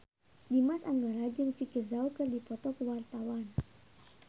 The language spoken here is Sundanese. Dimas Anggara jeung Vicki Zao keur dipoto ku wartawan